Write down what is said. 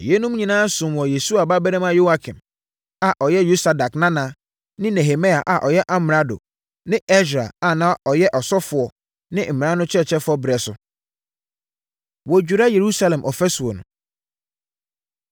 Na yeinom nyinaa somm wɔ Yesua babarima Yoiakim a ɔyɛ Yosadak nana ne Nehemia a ɔyɛ amrado ne Ɛsra a na ɔyɛ ɔsɔfoɔ ne mmara no ɔkyerɛkyerɛfoɔ berɛ so. Wɔdwira Yerusalem Ɔfasuo No